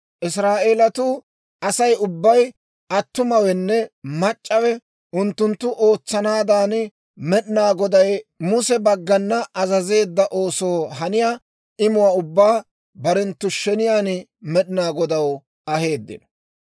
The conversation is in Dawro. Israa'eelatuu Asay ubbay, attumawenne mac'c'awe, unttunttu ootsanaadan Med'inaa Goday Muse baggana azazeedda oosoo haniyaa imuwaa ubbaa barenttu sheniyaan Med'inaa Godaw aheeddino.